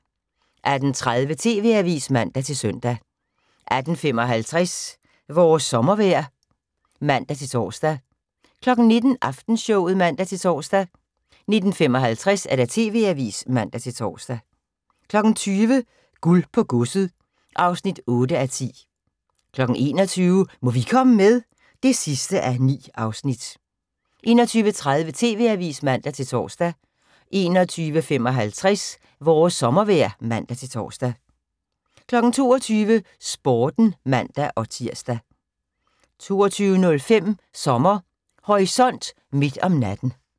18:30: TV-avisen (man-søn) 18:55: Vores sommervejr (man-tor) 19:05: Aftenshowet (man-tor) 19:55: TV-avisen (man-tor) 20:00: Guld på godset (8:10) 21:00: Må vi komme med? (9:9) 21:30: TV-avisen (man-tor) 21:55: Vores sommervejr (man-tor) 22:00: Sporten (man-tir) 22:05: Sommer Horisont: Midt om natten